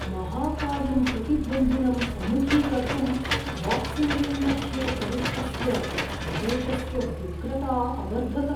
महाकायं प्रतिद्वन्द्विनं सम्मुखीकर्तुं boxing ring मध्ये प्रविष्टस्य महेशस्य व्यग्रता अवर्धत।